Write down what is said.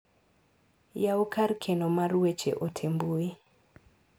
Yaw kar keno mar weche ote mbui